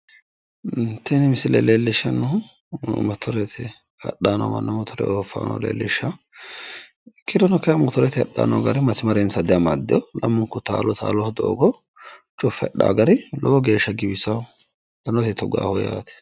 Tini misile leellishshannohu motorete hadhay no manna ofaano leellishawo ikkirono kayi motorete hadhay no gari masimarensa diamaddeewo lamunku taalo taaloho doogo cuffe hadawo gari lowo geeshsha giwisaawo. danote tugaho yaate.